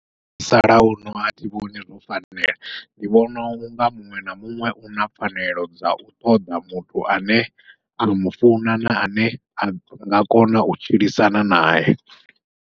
Musalauno athi vhoni zwo fanela, ndi vhona unga muṅwe na muṅwe u na pfanelo dzau ṱoḓa muthu ane a mufuna na ane anga kona u tshilisana nae.